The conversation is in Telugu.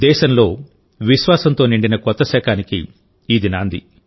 దేశంలో విశ్వాసంతో నిండిన కొత్త శకానికి ఇది నాంది